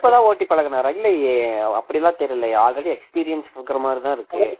இப்பதான் ஓட்டி பழகினாரா இல்லையே அப்படி எல்லாம் தெரியலையே already experience இருக்கிற மாதிரி தான் இருக்கு